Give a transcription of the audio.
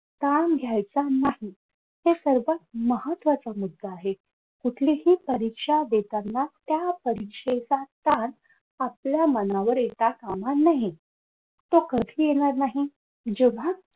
ताण घ्यायचा नाही हे सर्वात महत्वाचा मुद्दा आहे कुठलीही परीक्षा देताना त्या परीक्षेचा ताण आपल्या मनावर येता काम नये तो कधी येणार नाही जेव्हा